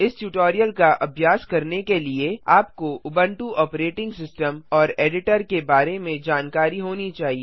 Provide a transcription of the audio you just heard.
इस ट्यूटोरियल का अभ्यास करने के लिए आपको उबुंटू ऑपरेटिंग सिस्टम और एडिटर के बारे में जानकारी होनी चाहिए